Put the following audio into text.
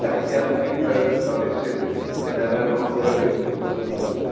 Daqui a trinta anos, talvez quer dizer, vai eh vai vai ocorrer a mesma coisa novamente.